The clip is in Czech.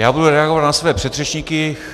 Já budu reagovat na své předřečníky.